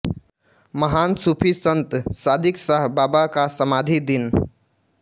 महान सुफि संत सादिकशाह बाबा का समाधी दिन